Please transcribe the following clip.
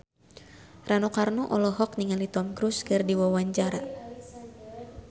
Rano Karno olohok ningali Tom Cruise keur diwawancara